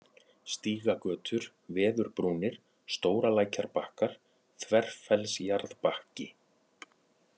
Stígagötur, Veðurbrúnir, Stóralækjarbakkar, Þverfellsjarðbakki